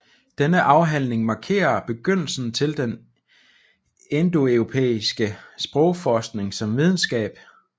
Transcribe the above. Denne afhandling markerer begyndelsen til den indoeuropæiske sprogforskning som videnskab